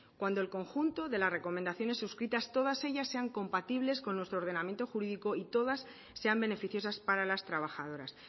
cuando el conjunto de las recomendaciones suscritas todas ellas sean compatibles con nuestro ordenamiento jurídico y todas sean beneficiosas para las trabajadoras